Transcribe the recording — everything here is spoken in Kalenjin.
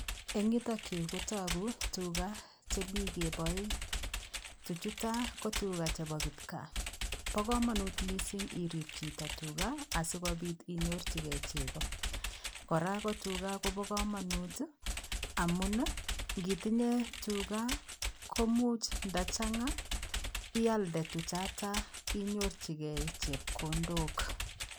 Eng yutoon Yuu ko taguu tugaah chemii kebae ,tuchuu chutoo ko tugaah chebo kipkaa, Bo kamanut missing irip chitoo tugaah asikobiit inyorjigei chepkondook kora ko tugaah Kobo kamanut amuun ii ngii itinyei tugaah komuuch nda chaanga ialdaa tuchataa inyorjigei chepkondook.